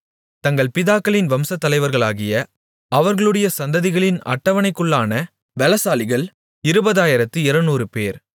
தங்கள் பிதாக்களின் வம்சத்தலைவர்களாகிய அவர்களுடைய சந்ததிகளின் அட்டவணைக்குள்ளான பெலசாலிகள் இருபதாயிரத்து இருநூறுபேர்